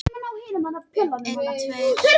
Þær eru margs konar.